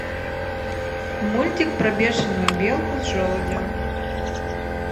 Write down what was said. мультик про бешеную белку с желудем